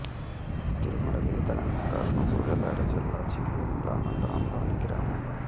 తిరుమలగిరి తెలంగాణ రాష్ట్రం సూర్యాపేట జిల్లా చివ్వేంల మండలంలోని గ్రామం